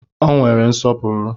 Ọ nwere nsọpụrụ